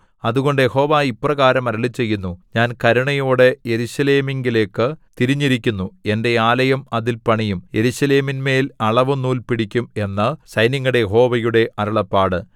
അതുകൊണ്ട് യഹോവ ഇപ്രകാരം അരുളിച്ചെയ്യുന്നു ഞാൻ കരുണയോടെ യെരൂശലേമിങ്കലേക്കു തിരിഞ്ഞിരിക്കുന്നു എന്റെ ആലയം അതിൽ പണിയും യെരൂശലേമിന്മേൽ അളവുനൂൽ പിടിക്കും എന്നു സൈന്യങ്ങളുടെ യഹോവയുടെ അരുളപ്പാട്